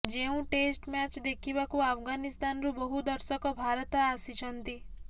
ଯେଉଁ test match ଦେଖିବାକୁ ଆଫଗାନିସ୍ତାନରୁ ବହୁ ଦର୍ଶକ ଭାରତ ଆସିଛନ୍ତି